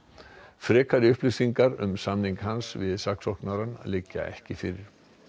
frekari upplýsingar um samning hans við saksóknara liggja ekki fyrir